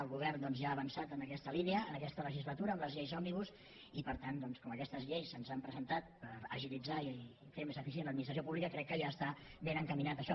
el govern doncs ja ha avançat en aquesta línia en aquesta legislatura amb les lleis òmnibus i per tant com que aquestes lleis se’ns han presentat per agilitzar i fer més eficient l’administració pública crec que ja està ben encaminat això